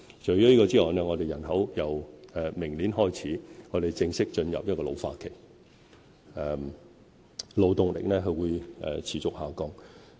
除此之外，本港人口由明年開始正式進入老化期，勞動力會持續下降。